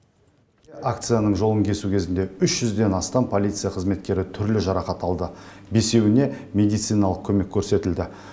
акцияның жолын кесу кезінде үш жүзден астам полиция қызметкері түрлі жарақат алды бесеуіне медициналық көмек көрсетілді